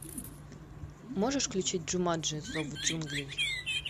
можешь включить джуманджи зов джунглей